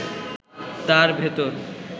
তার ভেতর